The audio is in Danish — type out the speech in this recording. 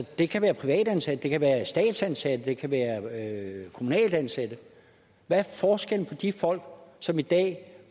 det kan være privatansatte det kan være statsansatte det kan være kommunalt ansatte hvad er forskellen på de folk som i dag